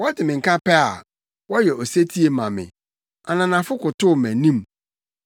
Wɔte me nka pɛ a, wɔyɛ osetie ma me; ananafo kotow mʼanim.